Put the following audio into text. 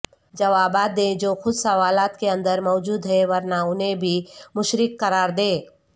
جوابات دیں جو خود سوالات کے اندر موجود ہیں ورنہ انہیں بھی مشرک قرار دے